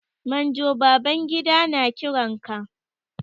Manjo Babangida na kiran ka.